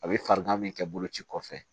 A bɛ farigan min kɛ boloci kɔfɛ